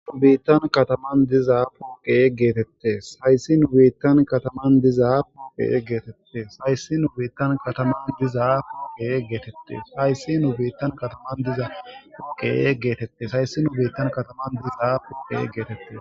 U biittan kataman dizaa puke geetette sayssi nu biittan kataman dizaapuke geetette sayssi nu biittan kataman dizaa pukke geetette sayssi nu biittan kataman diza pukke geetette sayssi nu biittan kataman dizaapuke geetette.